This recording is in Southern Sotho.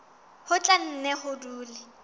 ho tla nne ho dule